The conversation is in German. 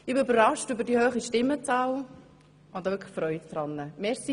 Ich bin überrascht über die hohe Stimmenzahl und freue mich sehr darüber.